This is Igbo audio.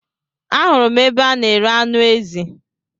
Ahụrụ m ebe a n'ere anụ ezi